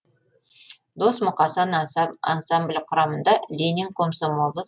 дос мұқасан ансамблі құрамында ленин комсомолы